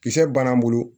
Kisɛ banna bolo